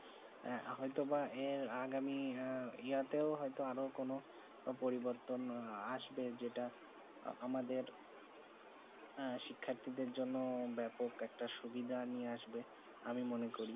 এ হয়ে তো বা যে আগামী ইয়াতে হয়ত আরও কোনো পরিবর্তন আসবে যেটা আমাদের শিখাটি জন্য ব্যাপক একটি সুবিধা নিয়ে আসবে আমি মনে করি